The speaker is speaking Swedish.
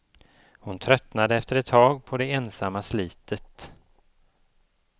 Hon tröttnade efter ett tag på det ensamma slitet.